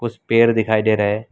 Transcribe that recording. कुछ पेड़ दिखाई दे रहा है।